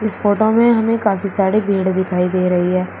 इस फोटो में हमें काफी सारी भीड़ दिखाई दे रही है।